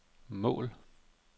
mål